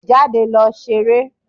Jáde lọ ṣeré.